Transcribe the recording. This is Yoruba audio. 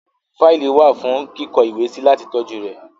Fáìlì wà fún kíkó ìwé sí láti tọ́jú rẹ̀.